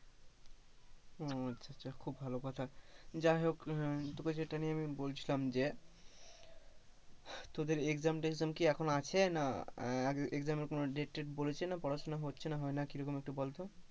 ও আচ্ছা আচ্ছা, খুব ভালো কথা যাই হোক তোকে যেটা নিয়ে আমি বলছিলাম যে তোদের exam টেকজম কি এখন আছে না exam এর কোনো date টেট পড়েছে না পড়াশোনা হচ্ছে না হয় না কি এরকম একটু বলতো,